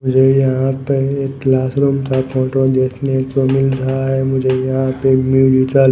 मुझे यहां पे एक क्लास रूम का फोटो देखने को मिल रहा है मुझे यहां पे एक म्यूजिकल --